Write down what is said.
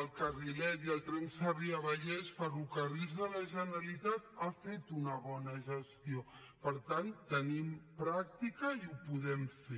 el carrilet i el tren sarrià vallès ferrocarrils de la generalitat n’ha fet una bona gestió per tant tenim pràctica i ho podem fer